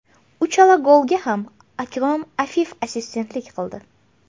Uchala golga ham Akrom Afif assistentlik qildi.